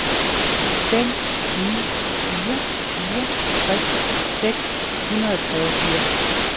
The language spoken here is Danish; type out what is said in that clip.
fem ni fire fire tres seks hundrede og treogfirs